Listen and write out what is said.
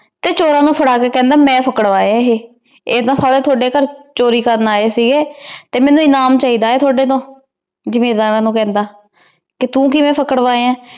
ਤੇ ਚੋਰਾਂ ਨੂ ਪਾਕ੍ਰ੍ਵਾ ਕੇ ਖੇੰਦਾ ਮੈਨਪ੍ਕ੍ਰ੍ਵਾਯਾ ਏਹੀ ਈਯ ਸਾਰੇ ਤੁਹਾਡੀ ਘਰ ਚੋਰੀ ਕਰਨ ਆਯ ਸੀਗੇ ਤੇ ਮੇਨੂ ਇਨਾਮ ਚੀ ਦਾ ਤੁਹਾਡੀ ਤੋਂ ਜ਼ਿਮੇੰਦਾਰਾਂ ਨੂ ਕਹੰਦਾ ਕੀ ਤੂ ਕਿਵੇਂ ਪਾਕ੍ਰ੍ਵਾਯ ਆ